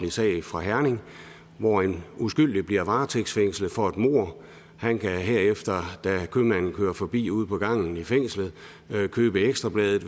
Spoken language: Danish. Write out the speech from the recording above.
sag fra herning hvor en uskyldig bliver varetægtsfængslet for et mord han kan herefter da købmanden kører forbi ude på gangen i fængslet købe ekstra bladet